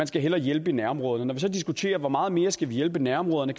skal hjælpe i nærområderne når vi diskuterer hvor meget mere vi skal hjælpe i nærområderne